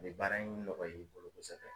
A bɛ baara in nɔgɔya i bolo kosɛbɛ.